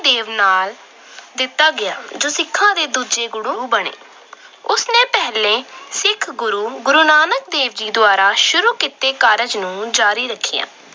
ਦੇਵ ਨਾਮ ਦਿੱਤਾ ਗਿਆ ਜੋ ਸਿੱਖਾਂ ਦੇ ਦੂਜੇ ਗੁਰੂ ਬਣੇ। ਉਸ ਨੇ ਪਹਿਲੇ ਸਿੱਖ ਗੁਰੂ ਨਾਨਕ ਦੁਆਰਾ ਸ਼ੁਰੂ ਕੀਤੇ ਕਾਰਜ ਨੂੰ ਜਾਰੀ ਰੱਖਿਆ।